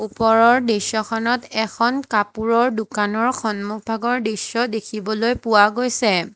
ওপৰৰ দৃশ্যখনত এখন কাপোৰৰ দোকানৰ সন্মুখভাগৰ দৃশ্য দেখিবলৈ পোৱা গৈছে।